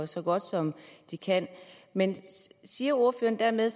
så godt som de kan men siger ordføreren dermed